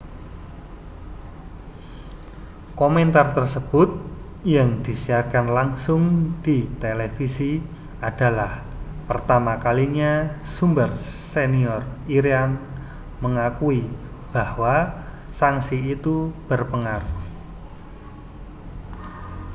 komentar tersebut yang disiarkan langsung di televisi adalah pertama kalinya sumber senior iran mengakui bahwa sanksi itu berpengaruh